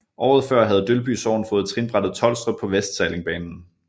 Året før havde Dølby Sogn fået trinbrættet Tolstrup på Vestsallingbanen